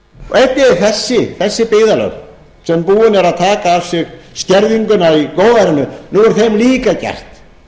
þessi byggðarlög sem búin eru að taka á sig skerðinguna í góðærinu nú er þeim líka gert